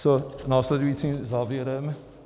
S následujícím závěrem.